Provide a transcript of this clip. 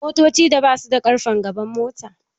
Motocin da basu da ƙarfen gaban mota